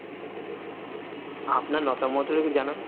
আপনার মতামতটা একটু জানান?